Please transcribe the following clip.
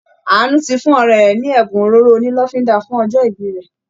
Àánú ti fún ọ̀rẹ́ rẹ̀ ní ẹ̀bùn òróró onílọ́fínńdà fún ọjọ́ ìbí rẹ